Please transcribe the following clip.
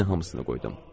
Yenə hamısını qoydum.